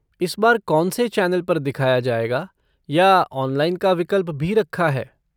इस बार कौनसे चैनल पर दिखाया जाएगा या ऑनलाइन का विकल्प भी रखा है?